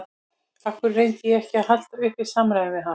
Af hverju reyndi ég ekki að halda uppi samræðum við hana?